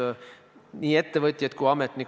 Kas sinna apteek jääb või ei jää, sellega täna tegeldakse.